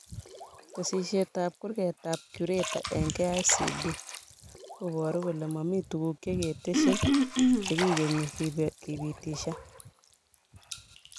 Tesisyitab kurgatab curator eng KICD kobaru kole mami tuguk chekitesyii chekekenyi kepitishan